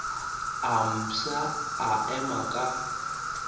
a mafsa a ema ka